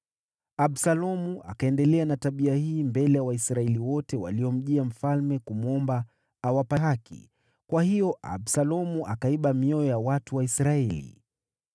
Absalomu akaendelea na tabia hii mbele ya Waisraeli wote waliomjia mfalme kumwomba awape haki; kwa hiyo Absalomu akaiba mioyo ya watu wa Israeli.